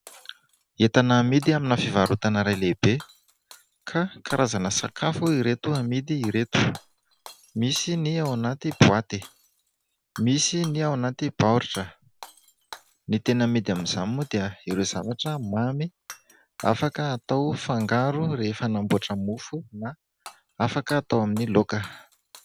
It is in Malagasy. Entana amidy amina fivarotana iray lehibe ka karazana sakafo ireto amidy ireto. Misy ny ao anaty boaty, misy ny ao anaty baoritra. Ny tena amidy amin'izany moa dia ireo zavatra mamy afaka atao fangaro rehefa hanamboatra mofo na afaka atao amin'ny laoka.